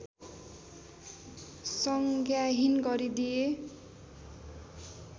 संज्ञाहीन गरिदिए